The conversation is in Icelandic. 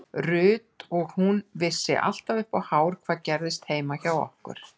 Ruth og hún vissi alltaf upp á hár hvað gerðist heima hjá okkur.